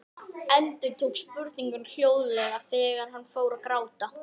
Endurtók spurninguna hljóðlega þegar hún fór að gráta.